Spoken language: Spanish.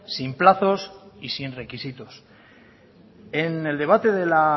sin plazos y sin requisitos en el debate de la